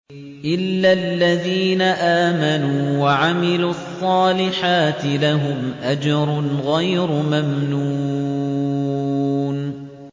إِلَّا الَّذِينَ آمَنُوا وَعَمِلُوا الصَّالِحَاتِ لَهُمْ أَجْرٌ غَيْرُ مَمْنُونٍ